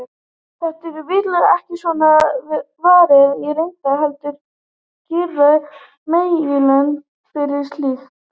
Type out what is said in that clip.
Þessu er vitaskuld ekki svo varið í reynd, heldur girða meginlönd fyrir slíkt.